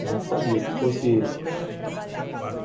A gente sabia, se fosse...